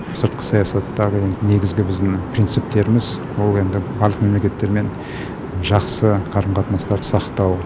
сыртқы саясаттағы енді негізгі біздің принциптеріміз бұл енді барлық мемлекеттермен жақсы қарым қатынастарды сақтау